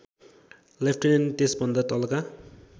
lieutenant त्यसभन्दा तलका